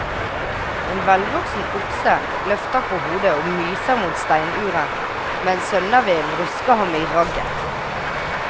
En velvoksen okse løfter på hodet og myser mot steinura mens sønnavinden rusker ham i ragget.